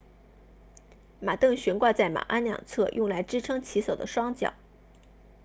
马镫悬挂在马鞍两侧用来支撑骑手的双脚